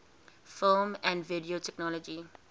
film and video technology